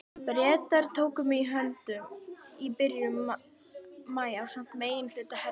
Bretar tóku mig höndum í byrjun maí ásamt meginhluta herdeildarinnar.